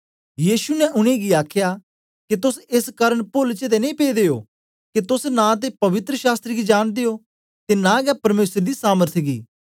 यीशु ने उनेंगी आखया के तोस एस कारन पोल च ते नेई पेदे ओ के तोस नां ते पवित्र शास्त्र गी जानदे ओ ते नां गै परमेसर दी समर्थ गी